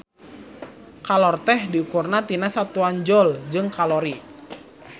Kalor teh diukur tina satuan joule jeung kalori.